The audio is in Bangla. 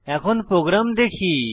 এখন প্রোগ্রাম দেখি